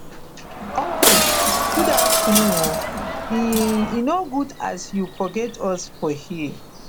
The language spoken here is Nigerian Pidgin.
uncle good afternoon o e e no good as you forget us for here